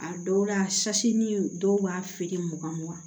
A dɔw la sasi ni dɔw b'a feere mugan mugan